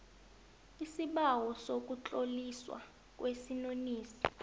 isibawo sokutloliswa kwesinonisi